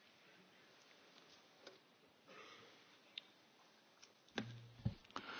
Die Antwort ist ganz einfach Eine Realpolitik setzt an den Problemen der Menschen an.